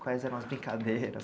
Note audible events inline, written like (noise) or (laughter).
Quais eram as brincadeiras? (laughs)